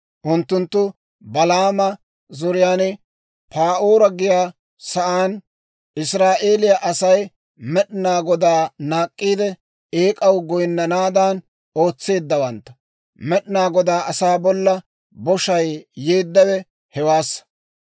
Unttunttu Balaama zoriyaan, Pa'oora giyaa saan Israa'eeliyaa Asay Med'inaa Godaa naak'k'iide, eek'aw goyinnanaadan ootseeddawantta; Med'inaa Godaa asaa bolla boshay yeeddawe hewaassa.